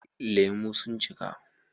Lemu sun cika